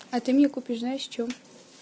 а ты мне купишь знаешь что